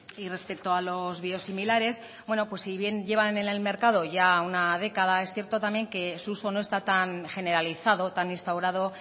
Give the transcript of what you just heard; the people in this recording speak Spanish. y respecto a los biosimilares bueno pues si bien llevan en el mercado ya una década es cierto también que su uso no está tan generalizado tan instaurado